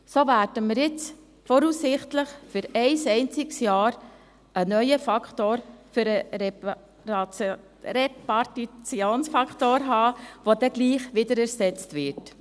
So werden wir jetzt voraussichtlich für ein einziges Jahr einen neuen Faktor für den Repartitionsfaktor haben, der doch wieder ersetzt wird.